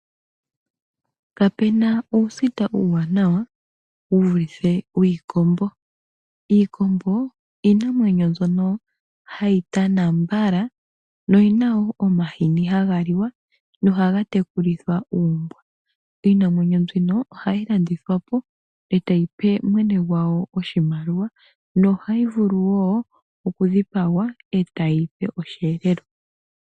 Kapena uusita uuwanawa wuvulithe wiikombo. Iikombo iinamwenyo mbyono hayi tana mbala noyina wo omahini haga liwa nohaga tekulithwa uumbwa. Iinamwenyo mbino ohayi landithwapo e tayi pe mwene gwawo oshimaliwa, nohayi vulu wo oku dhipagwa e tayipe oshiyelelwa.